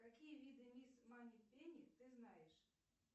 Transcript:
какие виды мисс манипенни ты знаешь